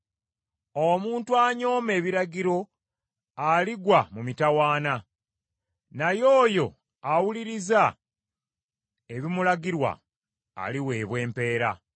Omuntu anyooma ebiragiro aligwa mu mitawaana, naye oyo awuliriza ebimulagirwa aliweebwa empeera.